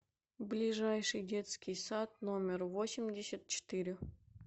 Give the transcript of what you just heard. ближайший детский сад номер восемьдесят четыре